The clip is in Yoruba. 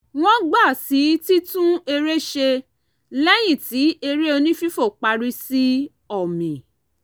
wọ́n gbà sí titún eré ṣe lẹ́yìn tí eré onífífo parí sí ọ̀mì